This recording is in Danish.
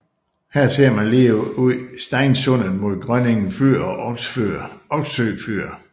Her ser man lige ud Steinsundet mod Grønningen fyr og Oksø fyr